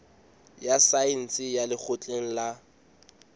ya saense ya lekgotleng la